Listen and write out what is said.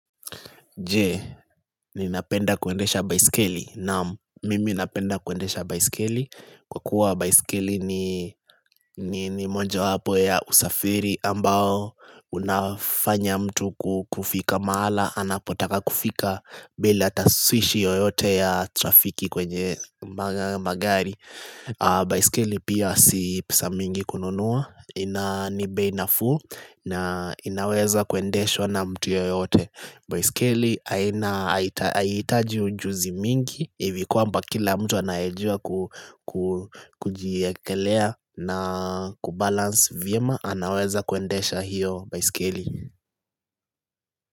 Je, ni napenda kuendesha baiskeli naam, mimi napenda kuendesha baiskeli Kwa kuwa baiskeli ni moja wapo ya usafiri ambao unafanya mtu kufika maala Anapotaka kufika bila ataswishi yoyote ya trafiki kwenye magari baiskeli pia si pesa mingi kununua Inanibei na fuu na inaweza kuendeshwa na mtu yoyote baiskeli haina haitaji ujuzi mingi Hivikuwamba kila mtu anaejua kujiyekelea na kubalansi vyema anaweza kuendesha hiyo baiskeli.